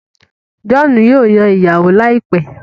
John yíò Yàn ìyàwó láìpé.